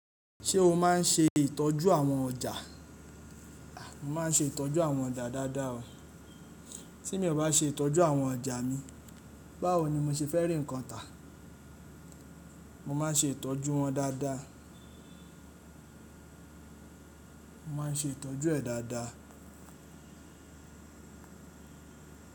Ṣé o máa n ṣe ìtọ́jú àwọn ọjà? Mo máa n ṣe ìtọ́jú àwọn ọjà dáadáa o. Tí mi ò bá ṣe ìtọ́jú àwọn ọjà mi, báwo ni mo ṣe fẹ́ rí nǹkan tà? Mo máa n ṣe ìtọ́jú wọn dáadáa. Mo má n ṣe ìtọ́jú ẹ̀ dáadáa.